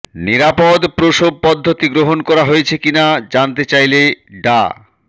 নিরাপদ প্রসব পদ্ধতি গ্রহণ করা হয়েছে কিনা জানতে চাইলে ডা